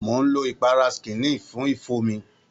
Mò ń lo ìpara skineal fún ifo mi.